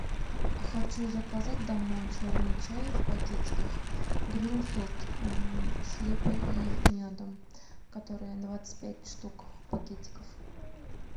хочу заказать домой черный чай в пакетиках гринфилд с липой и медом который двадцать пять штук пакетиков